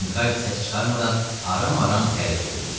Kinqaydı səs çıxarmadan aram-aram hərəkət eləyirdi.